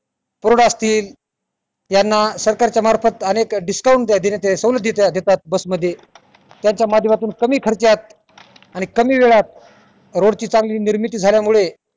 पुरोडा असतील यांना सरकारच्या मार्फत अनेक discount देण्यात सवलत देतात बस मध्ये त्यांच्या माध्यमातून कमी खर्च्यात आणि कमी वेळात rod ची चांगली निर्मिती झाल्यामुळे